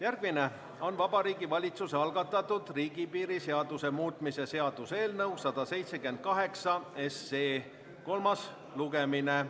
Järgmine on Vabariigi Valitsuse algatatud riigipiiri seaduse muutmise seaduse eelnõu 178 kolmas lugemine.